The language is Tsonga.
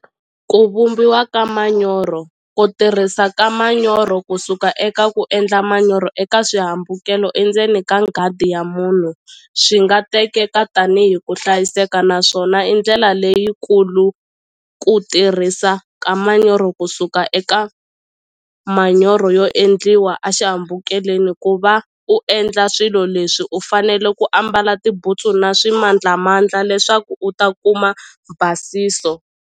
Ku vumbiwa ka manyoro ku tirhisa ka manyoro kusuka eka ku endla manyoro eka swihambukelo endzeni ka nghadi ya munhu swi nga tekeka tanihi ku hlayiseka naswona i ndlela leyikulu ku tirhisa ka manyoro kusuka eka manyoro yo endliwa a xihambukeleni ku va u endla swilo leswi u fanele ku ambala tibutsu na swimandlamandla leswaku u ta kuma basiso.